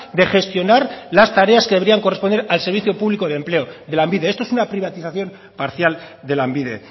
de gestionar las tareas que habrían correspondido al servicio público de empleo de lanbide esto es una privatización parcial de lanbide